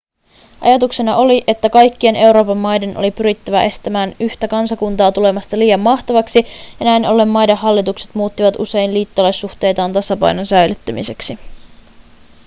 ajatuksena oli että kaikkien euroopan maiden oli pyrittävä estämään yhtä kansakuntaa tulemasta liian mahtavaksi ja näin ollen maiden hallitukset muuttivat usein liittolaissuhteitaan tasapainon säilyttämiseksi